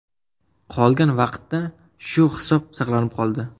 Qolgan vaqtda shu hisob saqlanib qoldi.